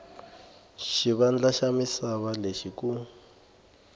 xivandla xa misava lexi ku